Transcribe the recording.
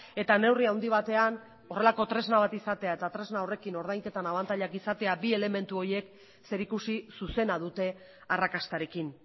eta neurri handi batean horrelako tresna bat izatea eta tresna horrekin ordainketan abantailak izatea bi elementu horiek zerikusi zuzena dute arrakastarekin